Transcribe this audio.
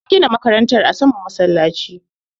an gina makaranta a saman masallaci